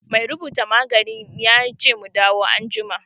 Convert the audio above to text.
Mai rubuta magani ya ce mu dawo anjima.